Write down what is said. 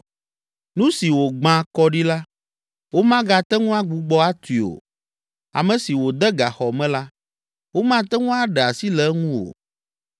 Nu si wògbã kɔ ɖi la, womagate ŋu agbugbɔ atui o. Ame si wòde gaxɔ me la, womate ŋu aɖe asi le eŋu o.